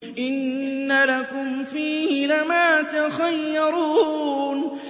إِنَّ لَكُمْ فِيهِ لَمَا تَخَيَّرُونَ